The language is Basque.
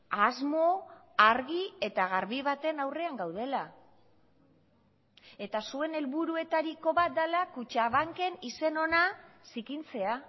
asmo argi eta garbi baten aurrean gaudela eta zuen helburuetariko bat dela kutxabanken izen ona zikintzea